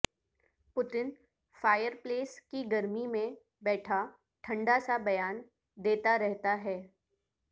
Putin fireplace کی گرمی میں بیٹھا ٹھنڈا سا بیان دیتا رہتا ہے